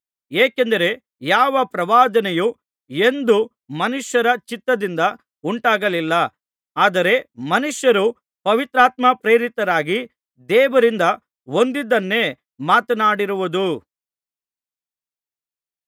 ಏಕೆಂದರೆ ಯಾವ ಪ್ರವಾದನೆಯೂ ಎಂದೂ ಮನುಷ್ಯರ ಚಿತ್ತದಿಂದ ಉಂಟಾಗಲಿಲ್ಲ ಆದರೆ ಮನುಷ್ಯರು ಪವಿತ್ರಾತ್ಮಪ್ರೇರಿತರಾಗಿ ದೇವರಿಂದ ಹೊಂದಿದ್ದನ್ನೇ ಮಾತನಾಡಿರುವುದು